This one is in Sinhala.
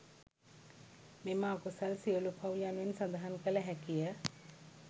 මෙම අකුසල් සියලු පව් යනුවෙන් සඳහන් කළ හැකිය.